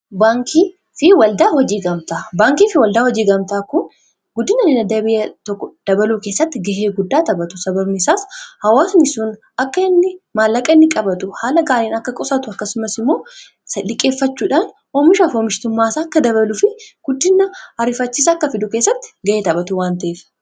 baankii fi waldaa hojii gamtaa guddinainaa biyyaa tokko dabaluu keessatti ga'ee guddaa taphatu sabamesaas hawaatani sun akka inni maallaqaa inni qabaatu haala gaaliin akka qusaatu akkasumas imoo dhiqeeffachuudhaan oomishaaf hoomishitummaas akka dabaaluuf guddiina ariifachisaa akka fiduu keessatti ga'ee taphaatu waan ta'ef